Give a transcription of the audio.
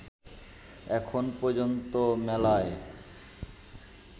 এখন পর্যন্ত মেলায়